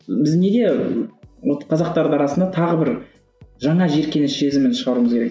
біз неге вот қазақтардың арасына тағы бір жаңа жиіркеніш сезімін шығаруымыз керек